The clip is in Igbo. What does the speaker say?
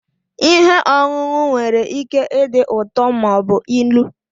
Ihe ọṅụṅụ nwere ike ịdị ụtọ ma ọ bụ ilu.